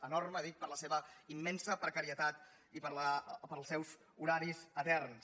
enorme ho dic per la seva immensa precarietat o pels seus horaris eterns